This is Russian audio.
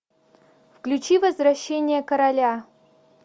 включи возвращение короля